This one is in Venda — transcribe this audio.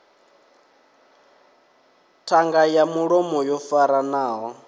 ṱhanga ya mulomo yo faranaho